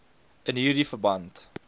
in hierdie verband